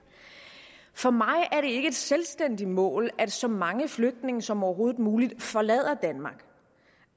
for mig er det ikke et selvstændigt mål at så mange flygtninge som overhovedet muligt forlader danmark